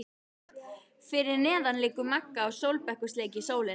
Fyrir neðan liggur Magga á sólbekk og sleikir sólina.